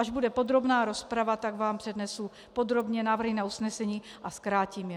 Až bude podrobná rozprava, tak vám přednesu podrobně návrhy na usnesení a zkrátím je.